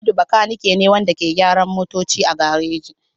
Hamidu makanike ne wanda ke gyaran motoci a gareji.